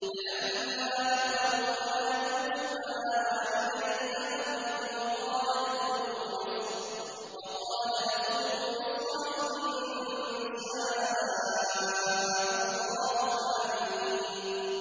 فَلَمَّا دَخَلُوا عَلَىٰ يُوسُفَ آوَىٰ إِلَيْهِ أَبَوَيْهِ وَقَالَ ادْخُلُوا مِصْرَ إِن شَاءَ اللَّهُ آمِنِينَ